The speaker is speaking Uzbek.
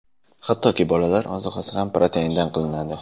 Hattoki bolalar ozuqasi ham proteindan qilinadi.